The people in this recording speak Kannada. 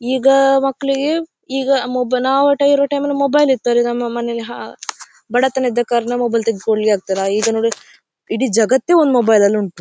ಈಗ ಮಕ್ಕಳಿಗೆ ಈಗ ಮೊಬೈಲ್ ಇರ್ತಾರೆ ನಮ್ಮ ಮನೆಯಲ್ಲಿ ಹ ಬಡತನ ಇದ್ದ ಕಾರಣ ಮೊಬೈಲ್ ತಗೆದು ಕೊಡಲಿಕ್ಕೆ ಆಗ್ತಿಲ್ಲ ಈಗ ನೋಡಿದರೆ ಇಡೀ ಜಗತ್ತೇ ಒಂದ್ ಮೊಬೈಲ್ ಉಂಟು.